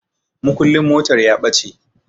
Mukullin motar ya ɓace